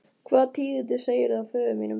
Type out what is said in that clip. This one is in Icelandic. Hvaða tíðindi segirðu af föður mínum?